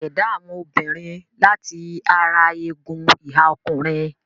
A ṣ'èdá àwọn obìnrin láti ara egun ìhà ọkùnrin.